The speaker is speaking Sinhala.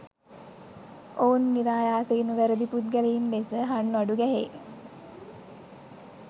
ඔවුන් නිරායාසයෙන්ම වැරදි පුද්ගලයින් ලෙස හන්වඩු ගැහේ